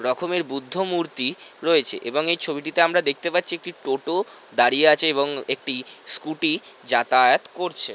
রকমের বুদ্ধ মূর্তি রয়েছে এবং এই ছবিটিতে আমরা দেখতে পারছি একটি টোটো দাঁড়িয়ে আছে এবং একটি স্কুটি যাতায়াত করছে ।